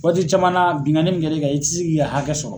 Waati caman na binkani min kɛr'i kan i ti s'i ka hakɛ sɔrɔ.